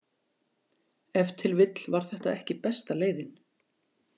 Ef til vill var þetta ekki besta leiðin.